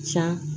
Ca